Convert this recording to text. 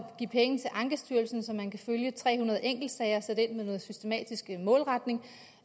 give penge til ankestyrelsen så man kan følge tre hundrede enkeltsager og sætte ind med noget systematisk målretning